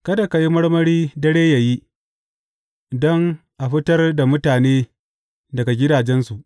Kada ka yi marmari dare yă yi, don a fitar da mutane daga gidajensu.